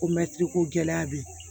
Ko mɛtiri ko gɛlɛya bɛ yen